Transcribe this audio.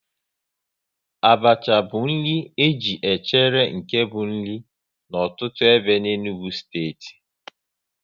Abacha bụ nri e ji echere nke bụ nri n'ọtụtụ ebe n'Enugu steeti